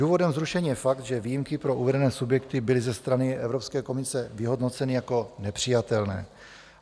Důvodem zrušení je fakt, že výjimky pro uvedené subjekty byly ze strany Evropské komise vyhodnoceny jako nepřijatelné.